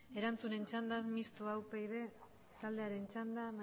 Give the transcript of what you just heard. erantzunen txandan mistoa upyd taldearen txanda